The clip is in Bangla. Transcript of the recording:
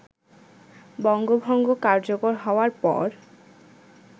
বঙ্গভঙ্গ কার্যকর হওয়ার পর